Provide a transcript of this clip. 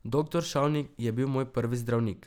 Doktor Šavnik je bil moj prvi zdravnik.